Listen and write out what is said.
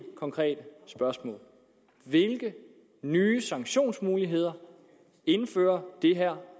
konkrete spørgsmål hvilke nye sanktionsmuligheder indfører det her